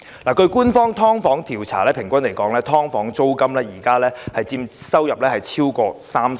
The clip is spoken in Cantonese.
根據官方的"劏房"調查，現時"劏房"租金平均佔租戶收入超過三成。